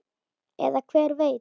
Eða hver veit?